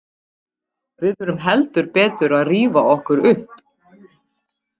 Við þurfum heldur betur að rífa okkur upp.